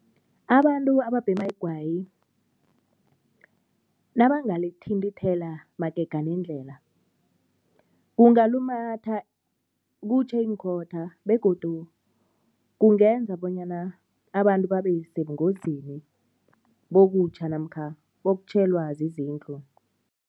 Abantu ababhema igwayi nabangalithintela magega nendlela, kungalumatha kutjhe iinkhotha begodu kungenza bonyana abantu babesebungozini bokutjha namkha bokutjhelwa zizindlu.